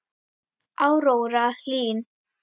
Áróra Hlín.